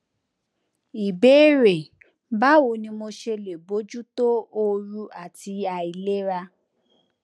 ìbéèrè báwo ni mo ṣe lè bójú tó òru àti àìlera